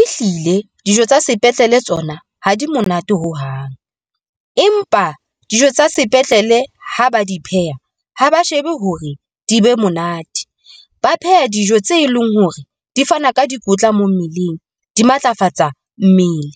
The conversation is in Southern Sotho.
Ehlile dijo tsa sepetlele, tsona ha di monate ho hang, empa dijo tsa sepetlele ha ba di pheha ha ba shebe hore di be monate. Ba pheha dijo tse leng hore di fana ka dikotla mo mmeleng, di matlafatsa mmele